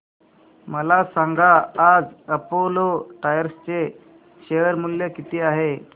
मला सांगा आज अपोलो टायर्स चे शेअर मूल्य किती आहे